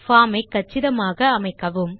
form ஐ கச்சிதமாக அமைக்கவும்